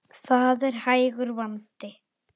Það er hægur vandi.